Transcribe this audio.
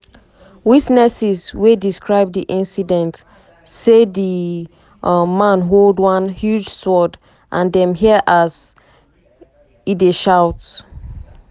witnesses wey describe di incident say di um man hold one "huge sword" and dem hear as um e dey shout.